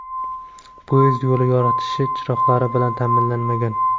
poyezd yo‘li yoritish chiroqlari bilan ta’minlanmagan.